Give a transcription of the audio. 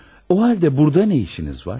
O halda burda nə işiniz var?